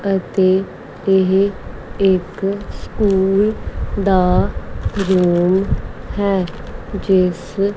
ਅਤੇ ਇਹ ਇੱਕ ਸਕੂਲ ਦਾ ਰੂਮ ਹੈ ਜਿਸ--